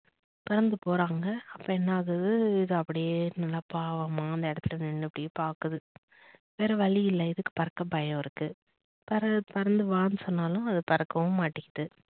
பறந்து போறாங்க அப்ப என்ன ஆகுது இது அப்படியே நல்லா பாவமா அந்த இடத்தில நின்னு அப்படியே பாக்குது வேற வழி இல்ல இதுக்கு பறக்க பயம் இருக்கு பறந்து பறந்து வான்னு சொன்னாலும் அது பறக்கவும் மாட்டேங்குது